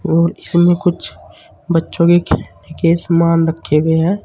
और इसमें कुछ बच्चों के खेलने के सामान रखे हुए हैं।